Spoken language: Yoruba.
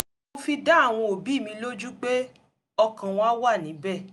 mo fi dá àwọn òbí mi lójú pé ọkàn wa wá níbẹ̀